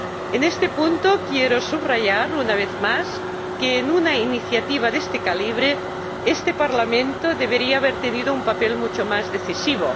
En este punto quiero subrayar una vez más que en una iniciativa de este calibre el Parlamento debería haber desempeñado un papel mucho más decisivo.